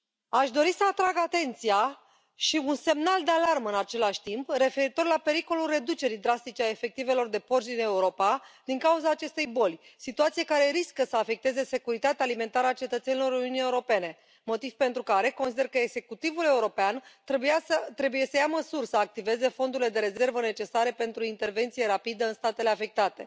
Aș dori să atrag atenția și un semnal de alarmă, în același timp, referitor la pericolul reducerii drastice a efectivelor de porci din Europa din cauza acestei boli, situație care riscă să afecteze securitatea alimentară a cetățenilor Uniunii Europene, motiv pentru care consider că executivul european trebuie să ia măsuri să activeze fondurile de rezervă necesare pentru intervenție rapidă în statele afectate.